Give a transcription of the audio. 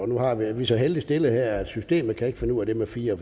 nu er vi så heldigt stillede her at systemet ikke kan finde ud af det med fire